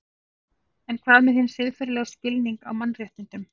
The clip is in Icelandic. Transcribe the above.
En hvað með hinn siðferðilega skilning á mannréttindum?